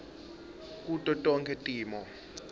kuto tonkhe timo